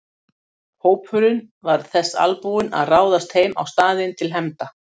Hópurinn var þess albúinn að ráðast heim á staðinn til hefnda.